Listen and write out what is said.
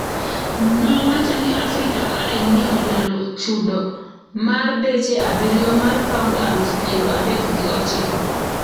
Nowacho ni Africa Eye ni olalo chudo mar deche abiriyo mar pound aluf piero adek gi ochiko.